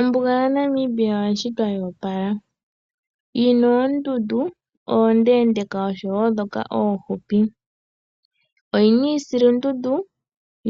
Ombuga yaNamibia oyashitwa yoopala, yina oondundu oondeendeeka nosho wo ndhoka oofupi, oyina iisilundundu